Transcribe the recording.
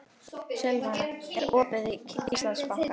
Silvana, er opið í Íslandsbanka?